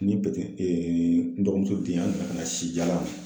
Ni ee ndomuso den